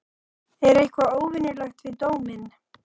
Er eitthvað óvenjulegt við dóminn?